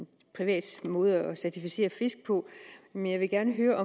en privat måde at certificere fisk på men jeg vil gerne høre